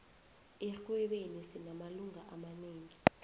erhwebeni sinamalunga amanengi